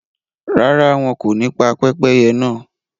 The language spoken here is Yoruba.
Ràrà, wọn kò ní pa pẹpẹyẹ̀ náà